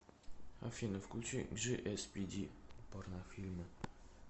афина включи джиэспиди порнофильмы